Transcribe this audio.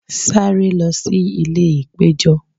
saré lo sí ìlè ipejo